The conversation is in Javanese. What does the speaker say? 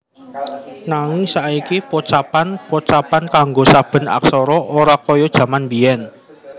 Nanging saiki pocapan pocapan kanggo saben aksara ora kaya jaman biyèn